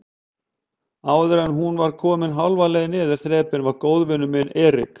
Áðuren hún var komin hálfa leið niður þrepin var góðvinur minn Erik